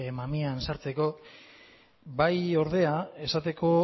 mamian sartzeko bai ordea esateko